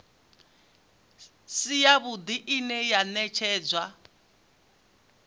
si yavhuḓi ine ya ṅetshedzwa